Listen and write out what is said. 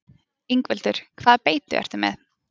Ingveldur: Hvaða beitu ertu með?